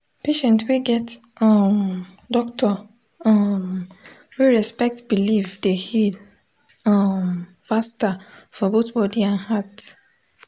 patient wey get um doctor um wey respect belief dey heal um faster for both body and heart.